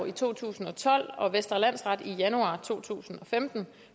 i to tusind og tolv og vestre landsret i januar to tusind og femten